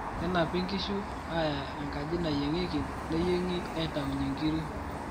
kenapi nkishu aya enkaji nayiengieki neyiemgi aitaunye nkiri